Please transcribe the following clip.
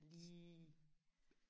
lige